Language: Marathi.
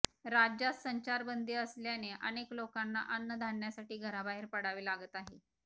राज्यात संचारबंदी असल्याने अनेक लोकांना अन्नधान्यसाठी घराबाहेर पडावे लागत आहे